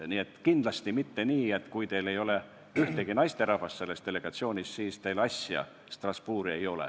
Nii et kindlasti ei ole nii, et kui teil ei ole ühtegi naisterahvast delegatsioonis, siis teil Strasbourgi asja ei ole.